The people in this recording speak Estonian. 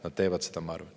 Nad teevad seda, ma arvan.